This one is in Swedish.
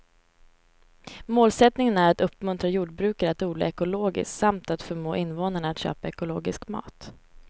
Målsättningen är att uppmuntra jordbrukare att odla ekologiskt samt att förmå invånarna att köpa ekologisk mat.